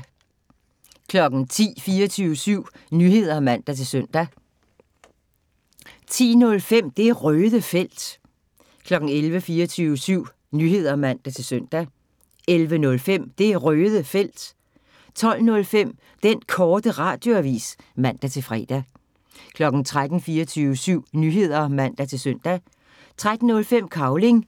10:00: 24syv Nyheder (man-søn) 10:05: Det Røde Felt 11:00: 24syv Nyheder (man-søn) 11:05: Det Røde Felt 12:05: Den Korte Radioavis (man-fre) 13:00: 24syv Nyheder (man-søn) 13:05: Cavling